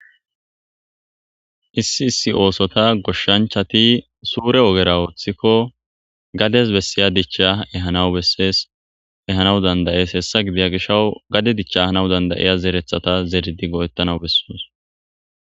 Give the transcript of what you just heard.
Issi issi oosota goshshanchchati suure ogera ooththikko gades bessiya dichcha ehanaw besees ehanaw danda7ees. Hessa gidiyo gishshaw gade dichchanaw danda7iya zereththata zeridi go7etanaw besoos.